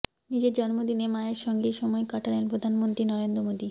নিজের জন্মদিনে মায়ের সঙ্গেই সময় কাটালেন প্রধানমন্ত্রী নরেন্দ্র মোদী